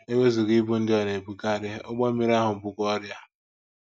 E wezụga ibu ndị ọ na - ebukarị, ụgbọ mmiri ahụ bukwa ọrịa.